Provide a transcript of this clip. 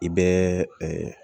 I bɛ